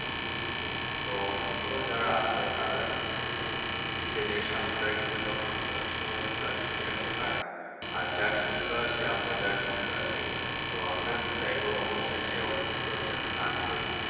হ্যাঁ তো অসুস্থ যারা আছে তারা কিন্তু নিজেদের স্বাস্থ্যটা কিন্তু তখন অসুস্থ হলে ঠিক রাখতে পারেনা আর যার সুস্থ আছে আমরা চাইবো যে অসুস্থ না হয়